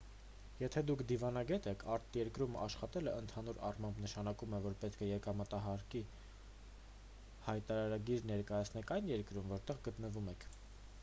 եթե դուք դիվանագետ եք արտերկրում աշխատելը ընդհանուր առմամբ նշանակում է որ պետք է եկամտահարկի հայտարարագիր ներկայացնեք այն երկրում որտեղ գտնվում եք